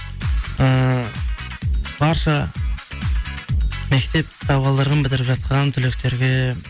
ііі барша мектеп табалдырығын бітіріп жатқан түлектерге